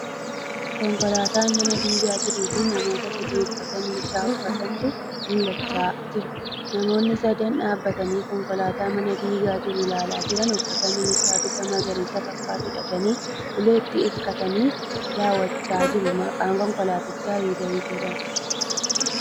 Konkolaataa mana diigaa jiruufi namoota sadii uffata milishaa uffatantu mul'achaa jira. Namoonni sadan dhaabatanii konkolaataa mana diigaa jiru ilaalaa jiran uffata milishaa bifa magariisa fakkaatu hidhatanii uleetti hirkatanii daawwachaa jiru. Maqaan konkolaatichaa Hayuundaa'ii jedhama.